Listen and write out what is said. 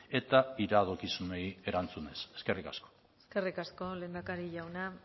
eta iradokizunei erantzunez eskerrik asko eskerrik asko lehendakari jauna